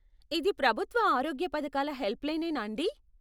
ఇది ప్రభుత్వ ఆరోగ్య పధకాల హెల్ప్లైనేనా అండీ?